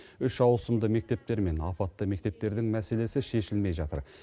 үш ауысымды мектептер мен апатты мектептердің мәселесі шешілмей жатыр